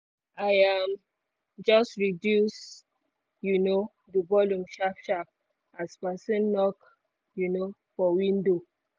i um just reduce um the volume sharp sharp as person knok um for window